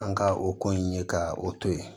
An ka o ko in ye ka o to ye